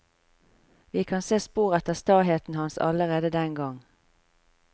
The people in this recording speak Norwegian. Vi kan se spor etter staheten hans allerede den gang.